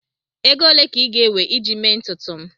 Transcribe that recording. Ego ole ka ị ga-ewe iji mee ntutu m?